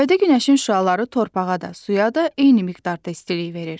Yayda günəşin şüaları torpağa da, suya da eyni miqdarda istilik verir.